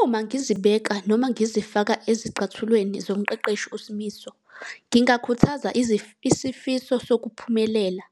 Uma ngizibeka noma ngizifaka ezicathulweni zomqeqeshi uSimiso, ngingakhuthaza isifiso sokuphumelela.